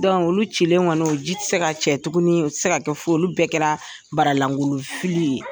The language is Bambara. olu cilen kɔni o ji ti se ka cɛ tuguni, u ti se ka kɛ foyi ye, olu bɛɛ kɛra baralangolon fili ye.